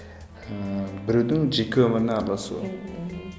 ыыы біреудің жеке өміріне араласу мхм